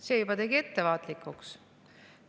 See tegi juba ettevaatlikuks.